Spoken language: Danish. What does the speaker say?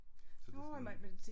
Så det er sådan